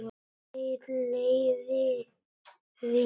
Þér liði vel.